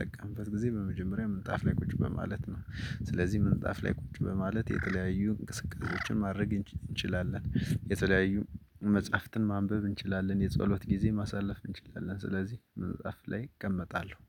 ጠቀምንበት ጊዜ በመጀመሪያ ምንጣፍ ላይ ቁጭ በማለት ነው ስለዚህ ምንጣፍ ላይ ቁጭ በማለት የተለያዩ እንቅስቃሴዎችን ማድረግ እንችላለን። የተለያዩ መጽሐፍትን ማንበብ እንችላለን የጸሎት ጊዜ ማሳለፍ እንችላለን። ስለዚህ መጽሐፍ ላይ እቀመጣለሁ